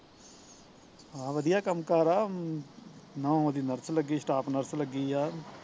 ਹਾਂ ਵਧੀਆ ਕੰਮ ਕਾਰ ਆ ਨੂਹ ਉਹਦੀ nurse ਲੱਗੀ staff nurse ਲੱਗੀ ਆ